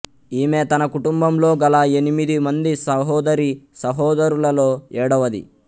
ఈమె తన కుటుంబంలో గల ఎనిమిది మంది సహోదరీ సహోదరులలో ఏడవది